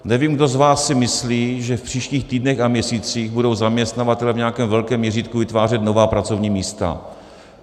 Nevím, kdo z vás si myslí, že v příštích týdnech a měsících budou zaměstnavatelé v nějakém velkém měřítku vytvářet nová pracovní místa.